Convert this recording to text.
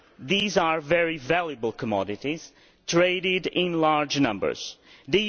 These are very valuable commodities traded in large amounts.